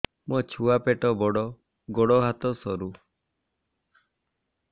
ମୋ ଛୁଆ ପେଟ ବଡ଼ ଗୋଡ଼ ହାତ ସରୁ